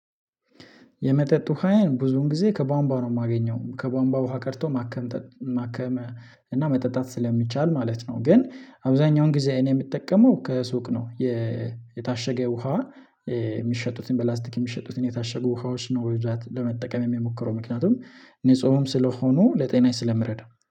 የመጠጥ ውሃዬን ብዙን ጊዜ ከቧንቧ ነው የማገኘው ከቧንቧ ውሃ ቀርቶ ማከም ማከመ እና መጠጣት ስለሚቻል ማለት ነው። ግን አብዛኛውን ጊዜ እኔ የምትጠቀመው ከሱቅ ነው። የታሸገ ውሃ የሚሸጡትን በፕላስቲክ የሚሸጡትን የታሸጉ ውሃዎች ነው ወይዛት ለመጠቀም የምሞክረው ምክንያቱም ንጹህም ስለሆኑ ለጤናይ ስለምረዳው